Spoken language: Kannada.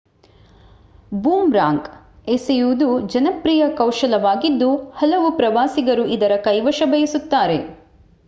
ಬೂಮ್‌ರಾಂಗ್‌ ಎಸೆಯುವುದು ಜನಪ್ರಿಯ ಕೌಶಲವಾಗಿದ್ದು ಹಲವು ಪ್ರವಾಸಿಗರು ಇದರ ಕೈವಶ ಬಯಸುತ್ತಾರೆ